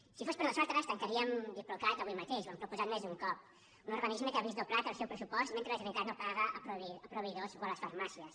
si fos per nosaltres tancaríem diplocat avui mateix ho hem proposat més d’un cop un organisme que ha vist doblat el seu pressupost mentre la generalitat no paga a proveï dors o a les farmàcies